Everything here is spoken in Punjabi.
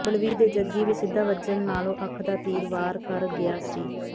ਬਲਵੀਰ ਦੇ ਜੱਗੀ ਵਿੱਚ ਸਿੱਧਾ ਵੱਜਣ ਨਾਲੋਂ ਅੱਖ ਦਾ ਤੀਰ ਵਾਰ ਕਰ ਗਿਆ ਸੀ